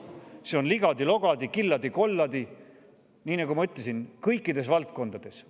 See on ligadi-logadi, killadi-kolladi, nii nagu ma ütlesin, kõikides valdkondades.